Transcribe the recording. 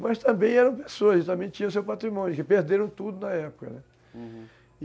Mas também eram pessoas, também tinham seu patrimônio, que perderam tudo na época, né?